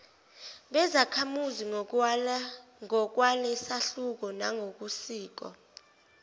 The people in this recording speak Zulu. bezakhamuzi ngokwalesahluko nangokosiko